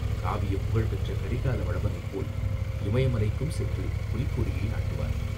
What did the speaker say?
காவியப் புகழ் பெற்ற கரிகால வளவனைப் போல் இமயமலைக்கும் சென்று புலிக்கொடியை நாட்டுவார்.